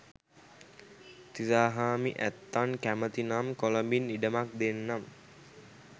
තිසාහාමි ඇත්තන් කැමති නම් කොළඹින් ඉඩමක් දෙන්නම්